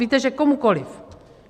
Víte, že komukoliv.